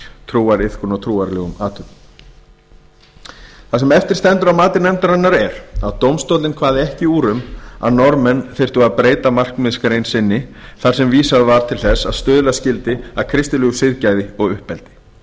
trúariðkun eða trúarlegum athöfnum það sem eftir stendur að mati nefndarinnar er að dómstóllinn kvað ekki upp úr um að norðmenn þyrftu að breyta markmiðsgrein sinni þar sem vísað var til þess að stuðla skyldi að kristilegu siðgæði og uppeldi